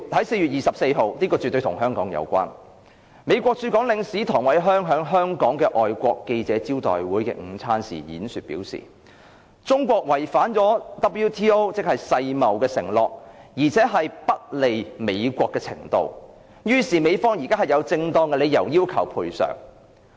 4月24日——此事絕對與香港有關——美國駐港領事唐偉康在香港外國記者會的午餐會演說時表示，中國違反了世界貿易組織的承諾，而且已經達到不利美國的程度，因此美方現在"有正當理由要求賠償"。